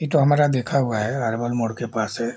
ई तो हमारा देखा हुआ है अर्बन मोड़ के पास है।